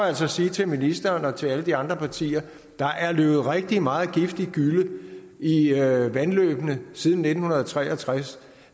altså sige til ministeren og til alle de andre partier at der er løbet rigtig meget giftig gylle i i vandløbene siden nitten tre og tres